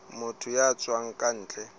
motho ya tswang ka ntle